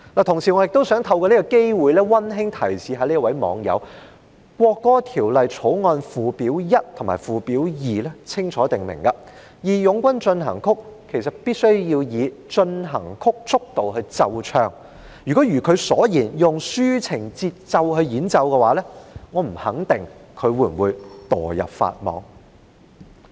同時，我也想透過這個機會溫馨提示這位網友，《條例草案》附表1和附表2清楚訂明，"義勇軍進行曲"必須以進行曲速度來奏唱，如果如她所言，以抒情節奏來演奏，我不肯定她會否墮入法網。